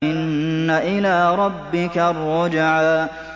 إِنَّ إِلَىٰ رَبِّكَ الرُّجْعَىٰ